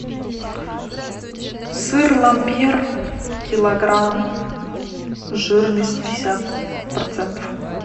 сыр ламбер килограмм жирность пятьдесят процентов